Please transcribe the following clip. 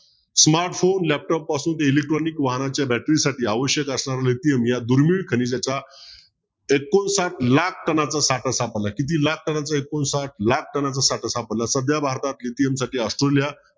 smartphone laptop पासून तर electronic वाहनांच्या battery साठी आवश्यक असलेला lithium या दुर्मिळ खनिजाच्या एकोणसाठ लाख कणांचा साठा सापडला आहे. किती लाख कणांचा एकोणसाठ लाख कणांचा साठा सापडला आहे. सध्या भारतात lithium साठी ऑस्ट्रेलिया